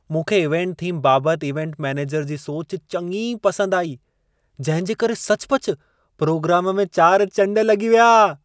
मूंखे event theme बाबति event manager जी सोच चङी पसंदि आई। जंहिं जे करे सचुपचु प्रोग्राम में चारि चंड लॻी विया।